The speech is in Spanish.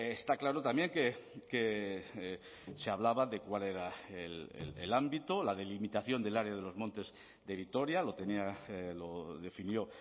está claro también que se hablaba de cuál era el ámbito la delimitación del área de los montes de vitoria lo tenía lo definió